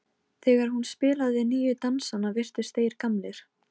Við tökum öll mikla áhættu með þessu.